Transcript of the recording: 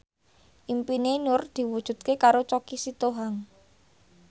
impine Nur diwujudke karo Choky Sitohang